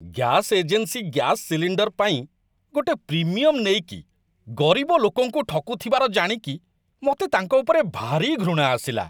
Gas agency gas cylinder ପାଇଁ ଗୋଟେ premium ନେଇକି ଗରିବ ଲୋକଙ୍କୁ ଠକୁଥିବାର ଜାଣିକି ମତେ ତାଙ୍କ ଉପରେ ଭାରି ଘୃଣା ଆସିଲା ।